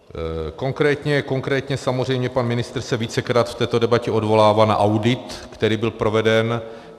Konkrétně samozřejmě pan ministr se vícekrát v této debatě odvolává na audit, který byl proveden.